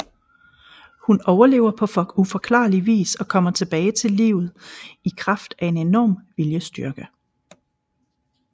Hun overlever på uforklarlig vis og kommer tilbage til livet i kraft af en enorm viljestyrke